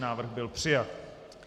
Návrh byl přijat.